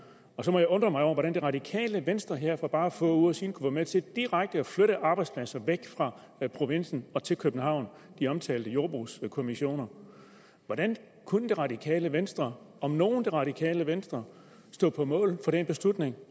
og så må jeg undre mig over hvordan det radikale venstre her for bare få uger siden kunne være med til direkte at flytte arbejdspladser væk fra provinsen til københavn de omtalte jordbrugskommissioner hvordan kunne det radikale venstre om nogen det radikale venstre stå på mål for den beslutning